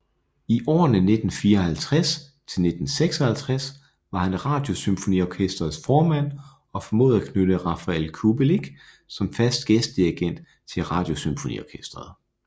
I årene 1954 til 1956 var han Radiosymfoniorkestrets formand og formåede at knytte Rafael Kubelik som fast gæstedirigent til Radiosymfoniorkestret